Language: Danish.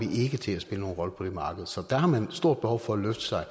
ikke til at spille nogen rolle på det marked så dér har man et stort behov for at løfte sig og